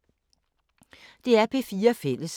DR P4 Fælles